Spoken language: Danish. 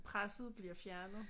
Presset bliver fjernet